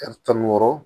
tan ni wɔɔrɔ